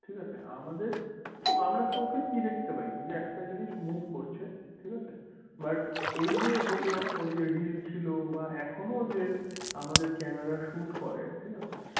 ঠিক আছে আমাদের আমরা চোখে কি দেখতে পাই একটা জিনিস move করছে ঠিক আছে but ওই যে বললাম ওই যে রিল ছিল বা এখনো যে যে ক্যামেরা shoot করে।